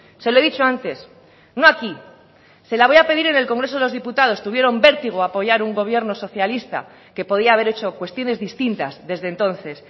se lo he dicho antes no aquí se la voy a pedir en el congreso de los diputados tuvieron vértigo a apoyar un gobierno socialista que podía haber hecho cuestiones distintas desde entonces